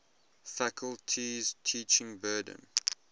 faculty's teaching burden